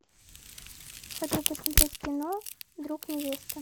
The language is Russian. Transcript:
хочу посмотреть кино друг невесты